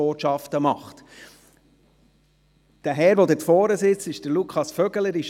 Der Herr, der dort vorne sitzt, ist Lukas Vögeli.